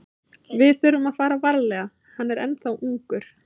Við þurfum að fara varlega, hann er ennþá ungur.